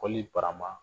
Kɔlili barama